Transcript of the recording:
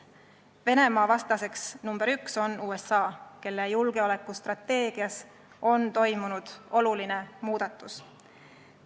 Venemaa vastane nr 1 on USA, kelle julgeolekustrateegias on toimunud oluline muudatus.